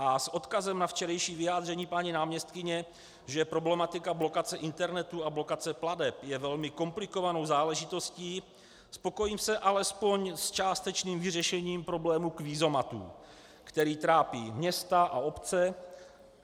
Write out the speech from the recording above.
A s odkazem na včerejší vyjádření paní náměstkyně, že problematika blokace internetu a blokace plateb je velmi komplikovanou záležitostí, spokojím se alespoň s částečným vyřešením problému kvízomatů, který trápí města a obce.